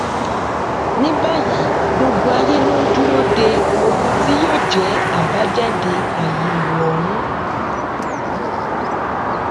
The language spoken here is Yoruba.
ní báyìí gbogbo ayé ló ń dúró de ohun tí yóò jẹ àbájáde àyẹwò ọhún